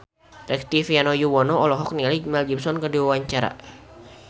Rektivianto Yoewono olohok ningali Mel Gibson keur diwawancara